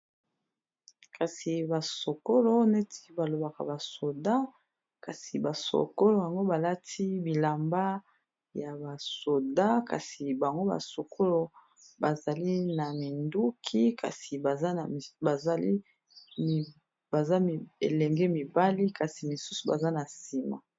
kasi basokolo neti balobaka basoda kasi basokolo yango balati bilamba ya basoda kasi bango basokolo bazali na minduki kasi baza elenge mibali kasi misusu baza na nsima